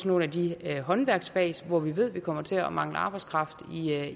nogle af de håndværksfag hvor vi ved vi kommer til at mangle arbejdskraft